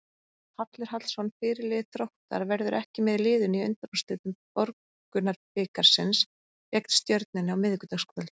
Hallur Hallsson, fyrirliði Þróttar, verður ekki með liðinu í undanúrslitum Borgunarbikarsins gegn Stjörnunni á miðvikudagskvöld.